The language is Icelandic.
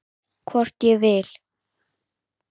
Hvort ég vil!